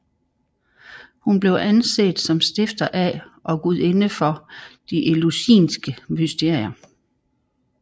Hun blev anset som stifter af og gudinde for de eleusinske mysterier